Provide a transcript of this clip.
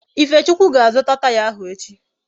Ifechukwu ga-azuta Taya ahụ echi